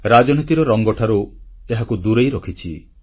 ରାଜନୀତିର ରଙ୍ଗଠାରୁ ଏହାକୁ ଦୂରେଇ ରଖିଛି